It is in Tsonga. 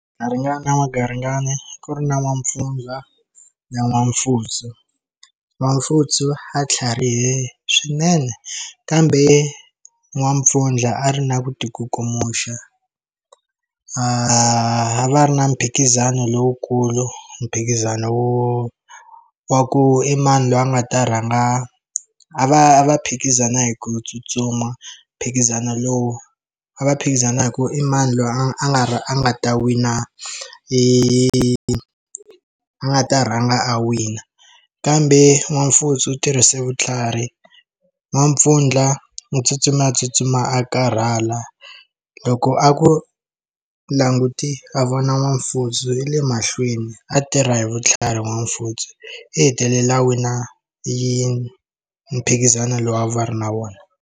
Garingani wa garingani ku ri na n'wampfundla na n'wampfutsu n'wampfutsu a tlharihile swinene kambe n'wampfundla a ri na ku tikukumusha a va ri na mphikizano lowukulu mphikizano wa ku i mani loyi a nga ta rhanga a va a va phikizana hi ku tsutsuma mphikizano lowu a va phikizana hi ku i mani loyi a nga a nga ta wina i a nga ta rhanga a wina kambe n'wana mfutsu u tirhise vutlhari n'wampfundla u tsutsumile a tsutsuma a karhala loko a ku languti a vona n'wana mfutsu hi le mahlweni a tirha hi vutlhari n'wana mfutsu i hetelela wina yi mphikizano lowu a va ri na vona.